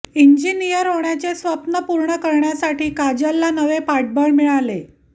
engineer होण्याचे स्वप्न पूर्ण करण्यासाठी काजलला नवे पाठबळ मिळाले